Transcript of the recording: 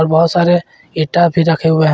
और बहुत सारे ईंटा भी रखे हुए हैं।